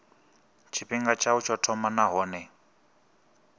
tshifhinga tsha u thoma nahone